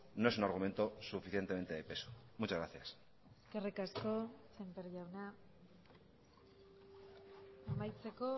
no es un argumento suficientemente de peso muchas gracias eskerrik asko sémper jauna amaitzeko